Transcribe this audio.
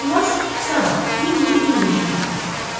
Qızcığaz sabah, iyunun 25-də çatacaq.